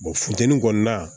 funteni kɔni na